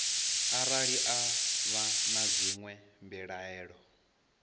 arali vha na dzinwe mbilaelo